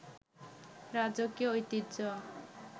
রাজকীয় ঐতিহ্য